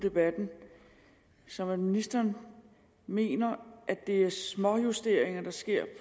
debatten som at ministeren mener at det er småjusteringer der sker